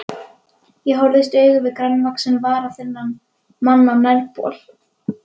Ég horfist í augu við grannvaxinn, varaþunnan mann á nærbol.